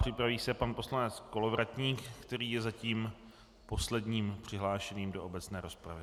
Připraví se pan poslanec Kolovratník, který je zatím posledním přihlášeným do obecné rozpravy.